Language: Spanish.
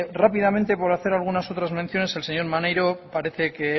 rápidamente por hacer algunas otras menciones el señor maneiro parece que